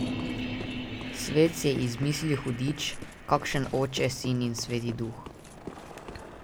Svet si je izmislil hudič, kakšen Oče, Sin in Sveti duh.